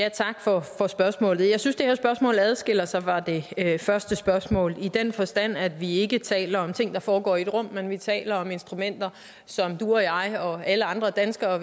tak for spørgsmålet jeg synes det her spørgsmål adskiller sig fra det første spørgsmål i den forstand at vi ikke taler om ting der foregår i et rum men at vi taler om instrumenter som du og jeg og alle andre danskere